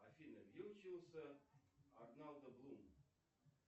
афина где учился орландо блум